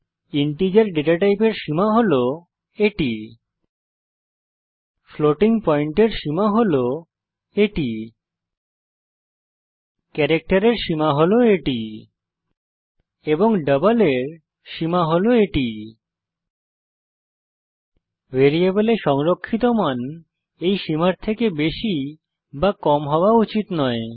integer data টাইপের সীমা হল 32768 টো 32767 ফ্লোটিং পয়েন্ট এর সীমা হল 34ই 38 ক্যারাক্টের এর সীমা হল 128 টো 127 এবং ডাবল এর সীমা হল 17ই 308 ভ্যারিয়েবলে সংরক্ষিত মান এই সীমার থেকে বেশি বা কম হওয়া উচিত নয়